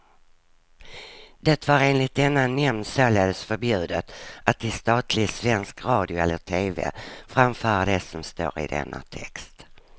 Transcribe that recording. Det var enligt denna nämnd således förbjudet att i statlig svensk radio eller tv framföra det som står i denna text.